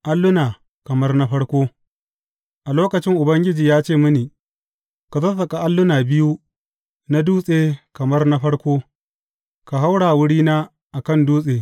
Alluna kamar na farko A lokacin Ubangiji ya ce mini, Ka sassaƙa alluna biyu na dutse kamar na farko, ka haura wurina a kan dutse.